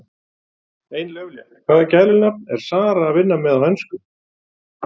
Ein lauflétt: Hvaða gælunafn er Zara að vinna með á Enska?